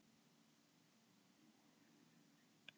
Hótuðu þeir einnig árásum.